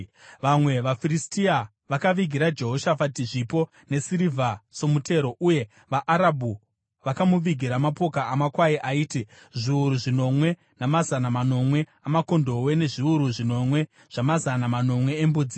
Vamwe vaFiristia vakavigira Jehoshafati zvipo nesirivha somutero, uye vaArabhu vakamuvigira mapoka amakwai aiti: zviuru zvinomwe namazana manomwe amakondobwe nezviuru zvinomwe namazana manomwe embudzi.